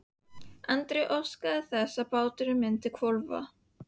Andri óskaði að bátnum myndi hvolfa.